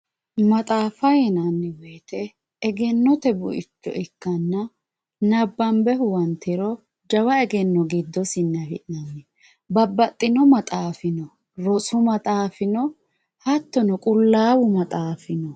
maxaaffa yinanni wote egennote buicho ikkanna nabbanbe huwantiro jawa egenno giddosinni afi'nanni babbaxino maxaafi no rosu maxaafi no hattono qullaawu maxaafi no.